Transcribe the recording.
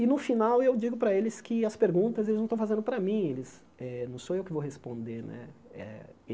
E no final eu digo para eles que as perguntas eles não estão fazendo para mim, eles eh não sou eu que vou responder né eh.